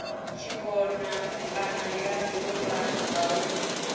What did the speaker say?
tshikona kana ya domba ngauri